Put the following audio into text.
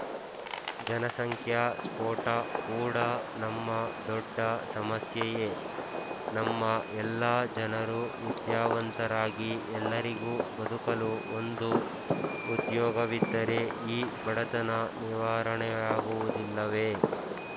ಜನಸಂಖ್ಯಾ ಸ್ಫೋಟ ಕೂಡಾ ನಮ್ಮ ದೊಡ್ಡ ಸಮಸ್ಯೆಯೇ ನಮ್ಮ ಎಲ್ಲ ಜನರೂ ವಿದ್ಯಾವಂತರಾಗಿ ಎಲ್ಲರಿಗೂ ಬದುಕಲು ಒಂದು ಉದ್ಯೋಗವಿದ್ದರೆ ಈ ಬಡತನ ನಿವಾರಣೆಯಾಗುವುದಿಲ್ಲವೇ